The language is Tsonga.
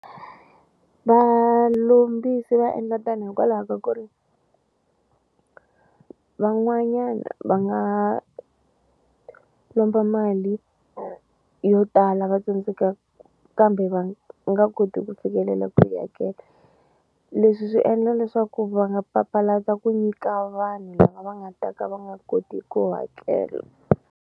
Valombisi va endla tano hikwalaho ka ku ri van'wanyana va nga lomba mali yo tala va tsandzekaka kambe va nga koti ku fikelela ku yi hakela leswi swi endla leswaku va nga papalata ku nyika vanhu lava nga ta ka va nga koti ku hakela.